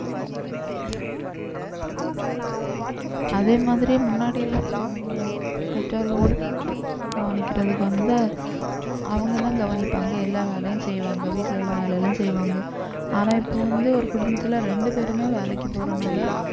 அதே மாதிரி முன்னாடி எல்லாம் அவங்க பெற்றோர்களும் வந்து பிள்ளைகளை கவனிக்கிறதுக்கு வந்து அவங்கதான் கவனிப்பாங்க எல்லா வேலையும் செய்வாங்க வீட்டுல உள்ள வேலை எல்லாம் செய்வாங்க ஆனா இப்ப வந்து ஒரு குடும்பத்தில ரெண்டு பேருமே வேலைக்கு போறனால